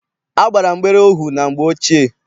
A gbara mgbere ohu na mgbe ochie.